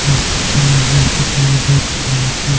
इस पिक्चर में जैसे कि हम लोग देख पा रहे हैं कि.